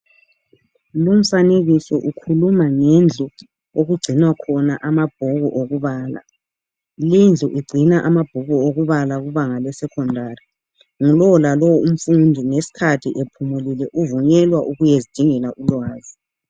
Lumfanekiso ukhuluma ngendlu okugcinwa khona amabhuku okubala lindlu igcina amabhuku okubala kubanga le"secondary "yilowo lalowo umfundi ngesikhathi ephumulile uvunyelwa ukuyazidingela ulwazi.